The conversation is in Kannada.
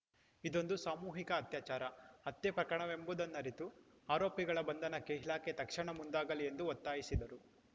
ಇದೊಂದು ಸಾಮೂಹಿಕ ಅತ್ಯಾಚಾರ ಹತ್ಯೆ ಪ್ರಕರಣವೆಂಬುದನ್ನರಿತು ಆರೋಪಿಗಳ ಬಂಧನಕ್ಕೆ ಇಲಾಖೆ ತಕ್ಷಣ ಮುಂದಾಗಲಿ ಎಂದು ಒತ್ತಾಯಿಸಿದರು